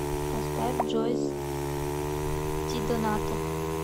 поставь джойс дидонато